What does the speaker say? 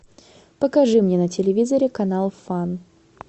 покажи мне на телевизоре канал фан